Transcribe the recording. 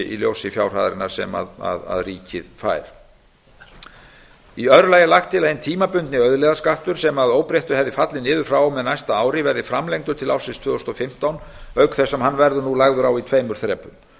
í ljósi fjárhæðarinnar sem ríkið fær í öðru lagi er lagt til að hinn tímabundni auðlegðarskattur sem að óbreyttu hefði fallið niður frá og með næsta ári verði framlengdur til ársins tvö þúsund og fimmtán auk þess sem hann verður nú lagður á í tveimur þrepum